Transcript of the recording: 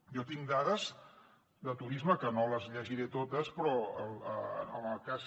jo tinc dades de turisme que no les llegiré totes però en el cas